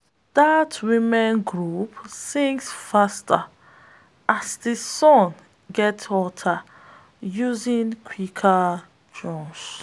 dat women’s group sings faster as di sun gets hotter urging quicker work.